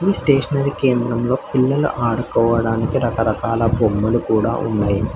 Stationery కేంద్రంలో పిల్లలు ఆడుకోవడానికి రకరకాల బొమ్మలు కూడా ఉన్నాయి.